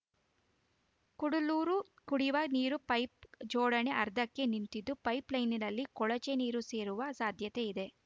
ಕುಡ್ಲೂರು ಕುಡಿಯು ವ ನೀರು ಪೈಪ್‌ ಜೋಡಣೆ ಅರ್ಧಕ್ಕೆ ನಿಂತಿದ್ದು ಪೈಪ್‌ಲೈನ್‌ನಲ್ಲಿ ಕೊಳಚೆ ನೀರು ಸೇರುವ ಸಾಧ್ಯತೆ ಇದೆ